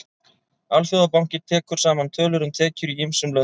Alþjóðabankinn tekur saman tölur um tekjur í ýmsum löndum.